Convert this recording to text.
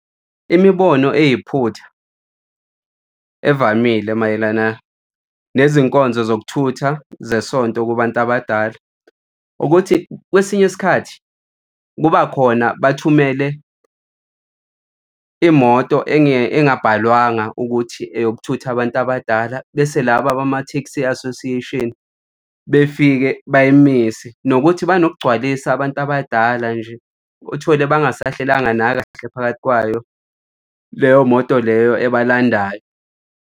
Imibono eyiphutha evamile mayelana nezinkonzo zokuthutha zesonto kubantu abadala ukuthi kwesinye isikhathi kuba khona bathumele imoto engabalwanga ukuthi eyokuthutha abantu abadala, bese laba abama-taxi association befike bayimise. Nokuthi banokugcwalisa abantu abadala nje, uthole bangasahlalanga nakahle phakathi kwayo leyo moto leyo ebalandayo.